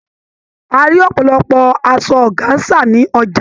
A rí ọ̀pọ̀lọpọ̀ asọ ọgáńsà ní ọjà.